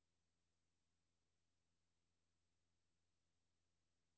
Det er meget fint, at I synes, vi skal være velorienterede.